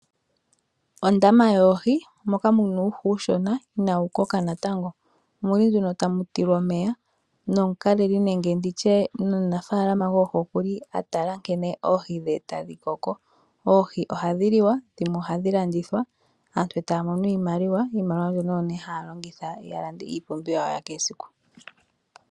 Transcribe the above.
Ondama yoohi moka mu na uuhi oshona inawu koka natango muli tamutulwa omeya nomukaleli nenge omunafaalama goohi okuli a tala nkene oohi dhe tashi koko. Oohi ohadhi lilwa dhimwe ohadhi landithwa aantu taya mono iimaliwa, iimaliwa mbyono oyo nee haya longitha ya lande iipumbiwa yawo ya kehe esiku.